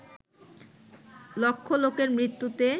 লক্ষ লোকের মৃত্যুতে